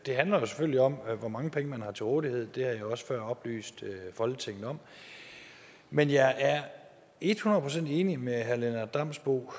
det handler selvfølgelig om hvor mange penge man har til rådighed det har jeg også før oplyst folketinget om men jeg er et hundrede procent enig med herre lennart damsbo